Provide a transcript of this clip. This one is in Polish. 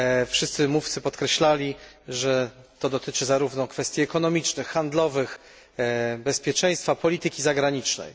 Wszyscy mówcy podkreślali, że dotyczy ona zarówno kwestii ekonomicznych, handlowych, bezpieczeństwa, jak i polityki zagranicznej.